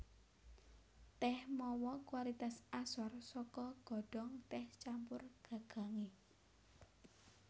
Tèh mawa kualitas asor saka godhong tèh campur gagangé